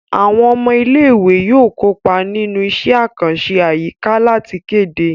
Àwọn ọmọ ilé ìwé yóò kópa nínú iṣẹ́ àkànṣe àyíká láti kéde